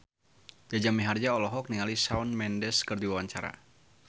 Jaja Mihardja olohok ningali Shawn Mendes keur diwawancara